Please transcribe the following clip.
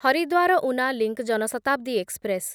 Haridwar Una link Janshatabdi express